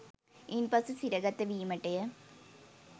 ඉන්පසු සිරගත වීමටය